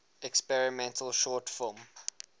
experimental short film